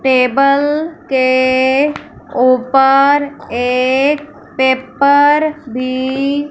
table के ऊपर एक पेपर भी--